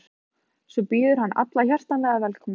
Svo býður hann alla hjartanlega velkomna.